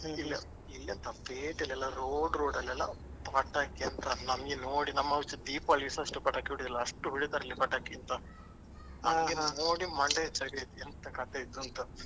ಇಲ್ಲೆ ಇಲ್ಲೆಂತ ಪೇಟೆಯಲ್ಲೆಲ್ಲ road road ಅಲ್ಲೆಲ್ಲ ಪಟಾಕಿ ಅಂತ ನಮ್ಗೆ ನೋಡಿ ನಮ್ಮಲ್ಲಿ ದೀಪಾವಳಿಲಿ ಸಾ ಅಷ್ಟು ಪಟಾಕಿ ಹೊಡೆಯಲ್ಲ ಅಷ್ಟು ಹೊಡಿತಾರಿಲ್ಲಿ ಪಟಾಕಿ ಆಯ್ತಾ ನನ್ಗೆ ಅದನ್ನು ನೋಡಿ ಮಂಡೆ ಬೆಚ್ಚ ಆಯ್ತು ಎಂತ ಕತೆ ಇದು ಅಂತ.